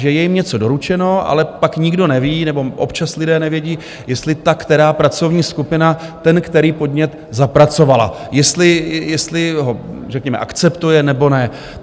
Že je jim něco doručeno, ale pak nikdo neví, nebo občas lidé nevědí, jestli ta která pracovní skupina ten který podnět zapracovala, jestli ho řekněme akceptuje, nebo ne.